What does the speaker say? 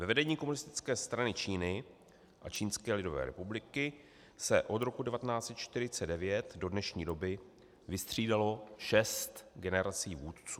Ve vedení Komunistické strany Číny a Čínské lidové republiky se od roku 1949 do dnešní doby vystřídalo šest generací vůdců.